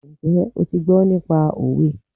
Njẹ́ o ti gbọ́ nípa òwe?